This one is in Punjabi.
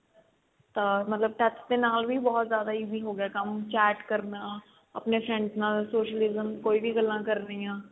ਤਾਂ ਮਤਲਬ touch ਦੇ ਨਾਲ ਵੀ ਬਹੁਤ ਜ਼ਿਆਦਾ easy ਹੋਗਿਆ ਕੰਮ chat ਕਰਨਾ ਆਪਣੇ friends ਨਾਲ socialism ਕੋਈ ਵੀ ਗੱਲਾਂ ਕਰਨੀਆਂ